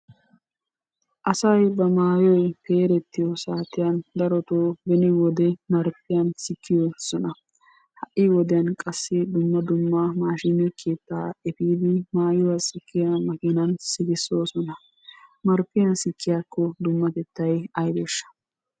Asay ba maayoy peerettiyo saatiyan darotoo beni wode marppiyan sikkoosona. Ha''i wodiyan qassi dumma dumma maashine keettaa efiidi maayuwa sikkiyo makiinan sikissoosona. Marppiyan sikkiyakko dummatettay aybeeshsha?